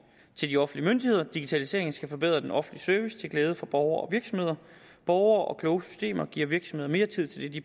til de offentlige myndigheder digitaliseringen skal forbedre den offentlige service til glæde for borgere og virksomheder borgere og kloge systemer giver virksomheder mere tid til det de